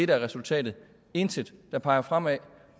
der er resultatet intet der peger fremad